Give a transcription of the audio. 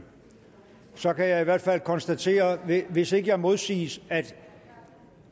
så kan jeg i hvert fald konstatere hvis ikke jeg modsiges at